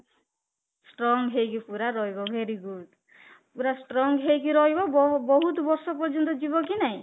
strong ହେଇକି ରହିବ ପୁରା very good ପୁରା strong ହେଇକି ରହିବ ବହୁତ ବର୍ଷ ପର୍ଯ୍ୟନ୍ତ ଯିବ କି ନାଇଁ